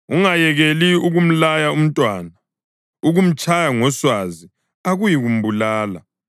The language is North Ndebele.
Ungayekeli ukumlaya umntwana; ukumtshaya ngoswazi akuyikumbulala.